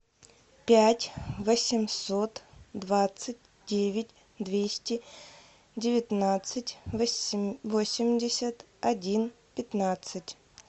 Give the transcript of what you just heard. пять восемьсот двадцать девять двести девятнадцать восемьдесят один пятнадцать